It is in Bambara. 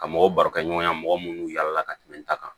Ka mɔgɔw barokɛ ɲɔgɔnya mɔgɔ minnu yaala la ka tɛmɛ n ta kan